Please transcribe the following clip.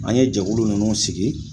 An ye jɛkulu nunnu sigi